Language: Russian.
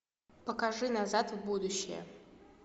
покажи назад в будущее